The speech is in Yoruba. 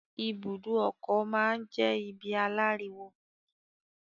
ibùdó ọkọ̀ máa n jẹ ibi àláriwo.